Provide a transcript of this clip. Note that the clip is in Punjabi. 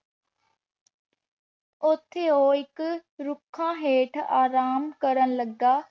ਓਥੇ ਊ ਏਇਕ ਰੁਖਾਂ ਹੇਠ ਆਰਾਮ ਕਰਨ ਲਗਾ